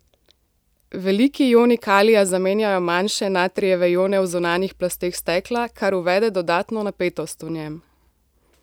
Veliki ioni kalija zamenjajo manjše natrijeve ione v zunanjih plasteh stekla, kar uvede dodatno napetost v njem.